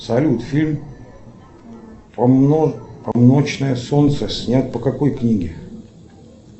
салют фильм полно полночное солнце снят по какой книге